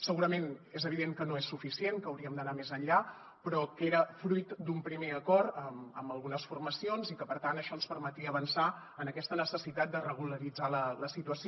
segurament és evident que no és suficient que hauríem d’anar més enllà però que era fruit d’un primer acord amb algunes formacions i que per tant això ens permetia avançar en aquesta necessitat de regularitzar la situació